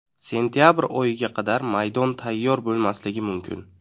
Sentabr oyiga qadar maydon tayyor bo‘lmasligi mumkin.